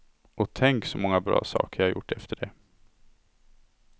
Och tänk så många bra saker jag gjort efter det.